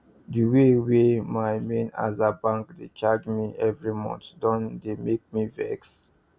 the way wey my main aza bank dey charge me every month don dey make me vex